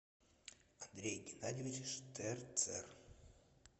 андрей геннадьевич штерцер